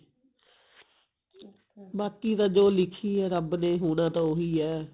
ਬਾਕੀ ਤਾਂ ਜੋ ਲਿੱਖੀ ਹੈ ਰੱਬ ਨੇ ਹੋਣਾ ਤਾਂ ਉਹੀ ਹੈ